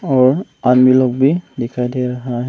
और आदमी लोग भी दिखाई दे रहा--